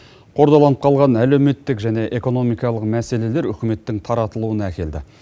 қордаланып қалған әлеуметтік және экономикалық мәселелер үкіметтің таратылуына әкелді